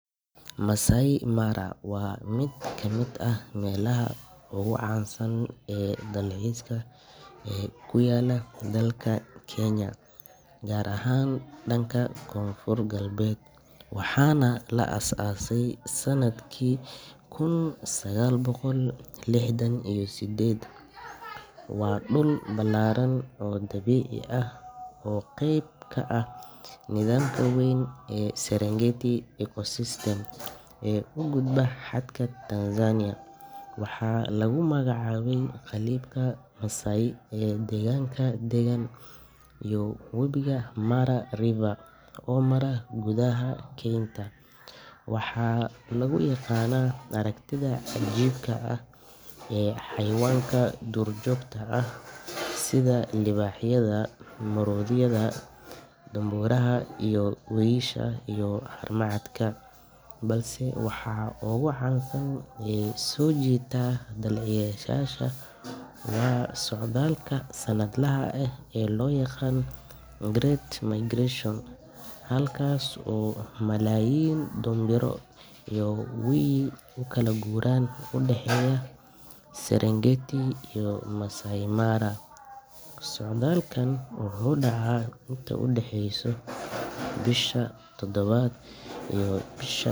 Masai Mara waa mid ka mid ah meelaha ugu caansan ee dalxiiska ee ku yaalla dalka Kenya, gaar ahaan dhanka koonfur-galbeed, waxaana la aas aasay sannadkii kun sagaal boqol lixdan iyo siddeed. Waa dhul ballaaran oo dabiici ah oo qayb ka ah nidaamka weyn ee Serengeti Ecosystem ee u gudba xadka Tanzania. Waxaa lagu magacaabay qabiilka Maasai ee deegaanka deggan iyo webiga Mara River oo mara gudaha keynta. Waxaa lagu yaqaanaa aragtida cajiibka ah ee xayawaanka duurjoogta ah sida libaaxyada, maroodiyada, dhoombiraha, wiyisha, iyo haramcadka. Balse waxa ugu caansan ee soo jiita dalxiisayaasha waa socdaalka sanadlaha ah ee loo yaqaan Great Migration, halkaas oo malaayiin dhoombiro iyo wiyil u kala guuraan u dhaxaysa Serengeti iyo Masai Mara. Socdaalkani wuxuu dhaca inta u dhaxaysa bisha todobaad iyo bish.